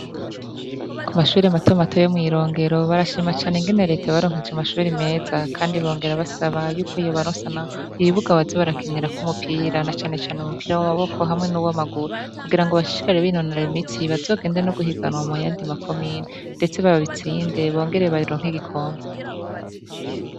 Ku mashure matomato yo Mwirongero barashima cane ingene leta yabaronkeje amashure meza, kandi bongera basaba yuko yobarosa ibibuga baze barakinirako umupira, na cane cane umupira w'amaboko hamwe nuw'amaguru kugirango bashishikare binonora imitsi bazogende no guhiganwa muyandi makomine ndetse baba bitsinde bongere baronka igikombe.